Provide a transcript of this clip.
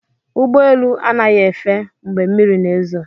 Ụgbọ elu anaghị efe mgbe mmiri na-ezo